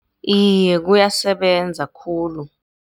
Iye, kuyasebenza khulu.